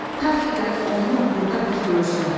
Ta ki gəlib onu burda bir görsün.